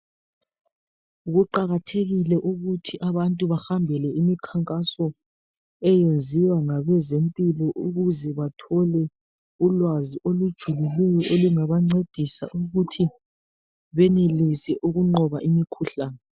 Kuqakathekile ukuthi abantu bahambele imikhankaso eyenziwa ngabezempilo ukuze bathole ulwazi olujulileyo olungabancedisa ukuthi benelise ukunqoba imikhuhlane.